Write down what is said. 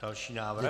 Další návrh.